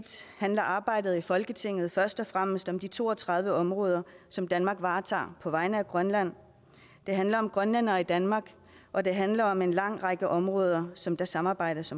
handler arbejdet i folketinget først og fremmest om de to og tredive områder som danmark varetager på vegne af grønland det handler om grønlændere i danmark og det handler om en lang række områder som der samarbejdes